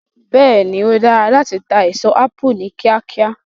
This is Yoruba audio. Bẹ́ẹ̀ ni, ó dára láti ta èso ápù ní kíákíá.